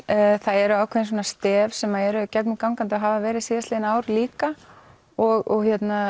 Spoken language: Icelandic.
það eru ákveðin svona stef sem eru gegnum gangandi og hafa verið síðastliðin ár líka og